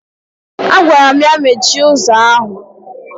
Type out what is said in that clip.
Agwaram ya mechie ụzọ ahụ!